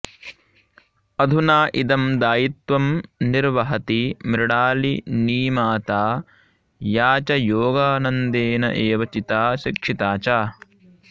अधुना इदं दायित्वं निर्वहति मृणालिनीमाता या च योगानन्देन एव चिता शिक्षिता च